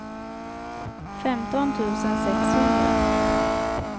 femton tusen sexhundra